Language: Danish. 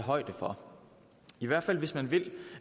højde for i hvert fald hvis man vil